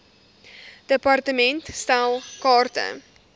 department stel kaarte